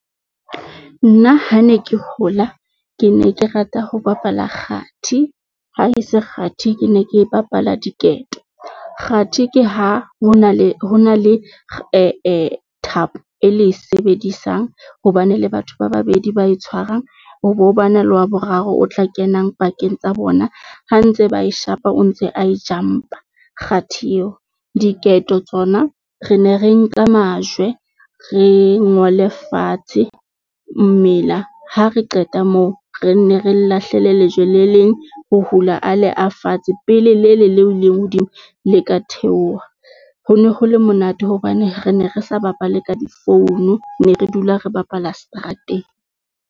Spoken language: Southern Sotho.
Nna ha ne ke hola, ke ne ke rata ho bapala kgathi, ha e se kgathi, ke ne ke bapala diketo. Kgathi, ke ha ho na le thapo e le e sebedisang hobane le batho ba babedi ba e tshwarang. Ho bo bana le wa boraro o tla kenang pakeng tsa bona ha ntse ba e shapa, o ntse a e jump-a kgathi eo. Diketo tsona re ne re nka majwe, re ngole fatshe mela ha re qeta moo re nne re lahlele lejwe le leng ho hula a le a fatshe pele lele leng hodimo le ka theoha ho no hole monate, hobane re ne re sa bapale ka di-phone ne re dula re bapala seterateng.